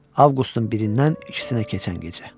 Avqustun birindən ikisinə keçən gecə.